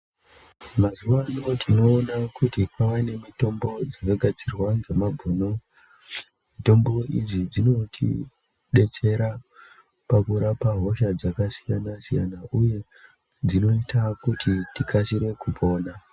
Mazuva ano tinoona kuti kwava nemitombo dzinogadzirwa ngemabhuni. Mitombo idzi dzinotibetsera pakurapa hosha dzakasiyana-siyana, uye dzinoita kuti tikasire kupona.